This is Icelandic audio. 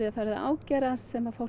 farið að ágerast sem fólk